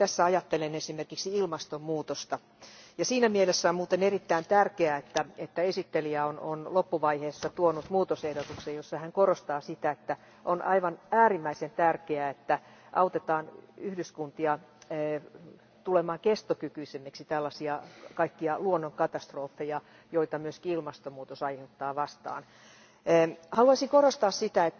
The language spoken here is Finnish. Tässä ajattelen esimerkiksi ilmastonmuutosta, ja siinä mielessä on muuten erittäin tärkeää, että esittelijä on loppuvaiheessa tuonut muutosehdotuksen, jossa hän korostaa sitä, että on aivan äärimmäisen tärkeää, että autetaan yhdyskuntia tulemaan kestokykyisemmiksi tällaisia kaikkia luonnonkatastrofeja, joita myös ilmastonmuutos aiheuttaa, vastaan. Haluaisin korostaa sitä,